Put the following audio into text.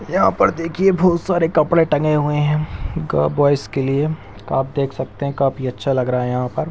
यहां पर देखी बहुत सारे कपड़े टंगे हुए हैं ग बॉयज के लिए आप देख सकते हैं काफी अच्छा लग रहा है यहां पर।